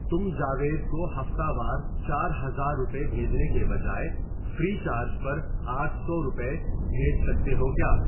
تم جاوید کو ہفتہ وار چار ہزار روپے بھیجنے کے بجائے فری چارج پر آٹھ سو روپے بھیج سکتے ہو کیا؟